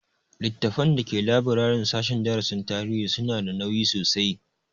Littafan da ke laburaren sashen darasin tarihi su na da nauyi sosai